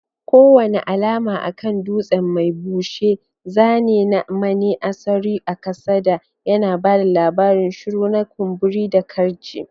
Kowane alama a kan dutsen mai bushe, zane na maneasuri kasada, yana ba da labarin shuru na kumburi da karce.